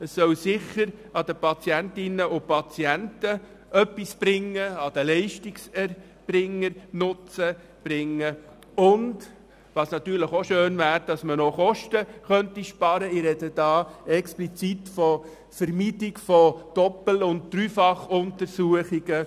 Sie soll sicher den Patientinnen und Patienten sowie den Leistungserbringern etwas bringen, und es wäre natürlich schön, man könnte noch Kosten sparen.